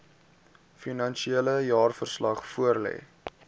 finansiële jaarverslag voorlê